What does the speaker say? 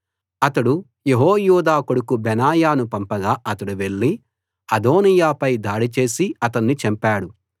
అతడు యెహోయాదా కొడుకు బెనాయాను పంపగా అతడు వెళ్ళి అదోనీయాపై దాడి చేసి అతణ్ణి చంపాడు